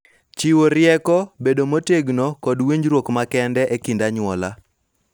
Chiwo rieko, bedo motegno, kod winjruok makende e kind anyuola.